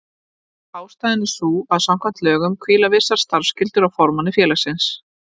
Ástæðan er sú að samkvæmt lögum hvíla vissar starfsskyldur á formanni félagsins.